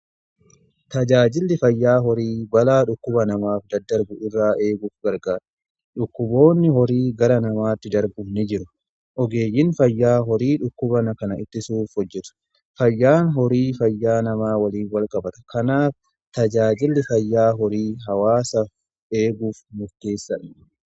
Tajaajilli fayyaa horii balaa dhukkuba namaaf daddarbu irraa eeguuf gargaara. Dhukkuboonni horii gara namaatti darbu ni jiru. Ogeeyyin fayyaa horii dhukkuban kana ittisuuf hojjetu. Fayyaan horii fayyaa namaa waliin walqabata. Kanaaf tajaajilli fayyaa horii hawaasaf eeguuf murteessaadha.